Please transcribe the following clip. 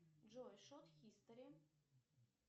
джой шот хистори